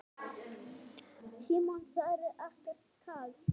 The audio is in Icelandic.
Símon: Það er ekkert kalt?